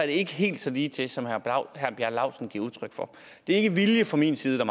ikke helt så ligetil som herre bjarne laustsen giver udtryk for det er ikke vilje fra min side